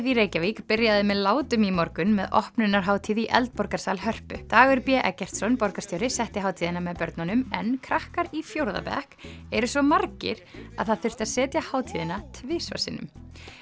í Reykjavík byrjaði með látum í morgun með opnunarhátíð í Eldborgarsal Hörpu Dagur b Eggertsson borgarstjóri setti hátíðina með börnunum en krakkar í fjórða bekk eru svo margir að það þurfti að setja hátíðina tvisvar sinnum